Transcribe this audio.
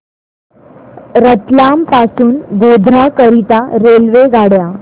रतलाम पासून गोध्रा करीता रेल्वेगाड्या